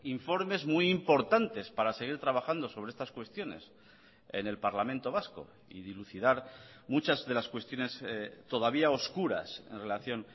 informes muy importantes para seguir trabajando sobre estas cuestiones en el parlamento vasco y dilucidar muchas de las cuestiones todavía oscuras en relación